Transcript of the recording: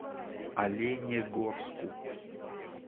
оленегорску